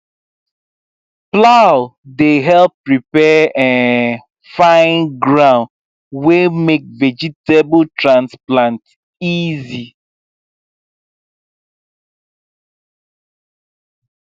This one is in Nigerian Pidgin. plow dey help prepare um fine ground wey make vegetable transplant easy